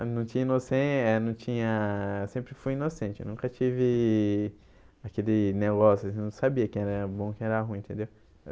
Eu não tinha eh não tinha eu sempre fui inocente, nunca tive aquele negócio, não sabia quem era bom, quem era ruim, entendeu?